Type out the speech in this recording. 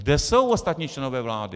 Kde jsou ostatní členové vlády?